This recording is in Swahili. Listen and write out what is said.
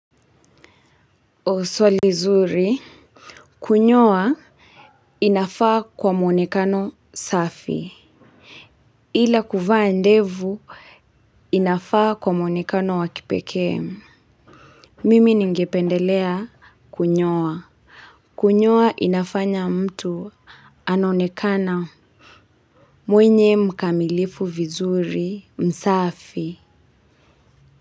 Swali zuri kunyoa inafaa kwa muonekano safi ila kuvaa ndevu inafaa kwa muonekano wa kipekee. Mimi ningependelea kunyoa kunyoa inafanya mtu Anaonekana Mwenye mkamilifu vizuri msafi.